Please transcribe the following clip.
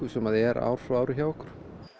sem er ár frá ári hjá okkur